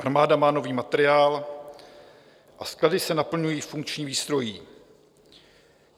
Armáda má nový materiál a sklady se naplňují funkční výstrojí.